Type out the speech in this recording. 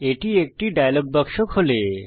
এটি একটি ডায়লগ বাক্স খোলে